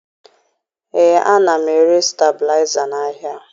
Ee, ana m ere stebilaịza n'ahịa